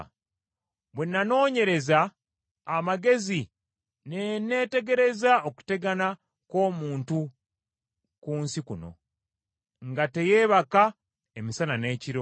Bwe nanoonyereza amagezi ne neetegereza okutegana kw’omuntu ku nsi kuno, nga teyeebaka emisana n’ekiro.